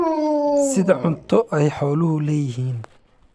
sida cunto ay xooluhu leeyihiin